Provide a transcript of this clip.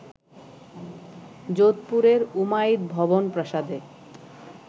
যোধপুরের ‘উমাইদ ভবন’ প্রাসাদে